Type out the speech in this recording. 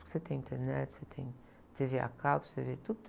Você tem internet, você tem tê-vê a cabo, você vê tudo.